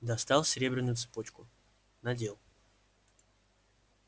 достал серебряную цепочку надел